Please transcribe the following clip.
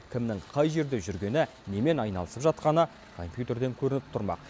кімнің қай жерде жүргені немен айналысып жатқаны компьютерден көрініп тұрмақ